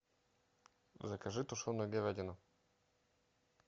закажи тушеную говядину